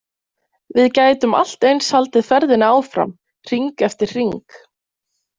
Við gætum allt eins haldið ferðinni áfram, hring eftir hring.